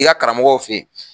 I ga karamɔgɔw fe yen